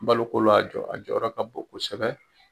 Baloko la a jɔ a jɔyɔrɔ ka bon kosɛbɛ.